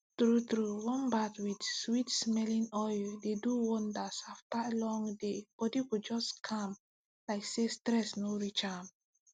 true true warm bath with sweetsmelling oil dey do wonders after long daybody go just calm like say stress no reach am